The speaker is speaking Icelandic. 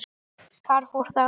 Þar fór það.